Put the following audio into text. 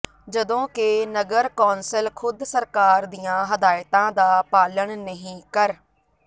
ਜਦੋਂ ਕਿ ਨਗਰ ਕੌਂਸਲ ਖੁਦ ਸਰਕਾਰ ਦੀਆਂ ਹਦਾਇਤਾਂ ਦਾ ਪਾਲਣ ਨਹੀਂ ਕਰ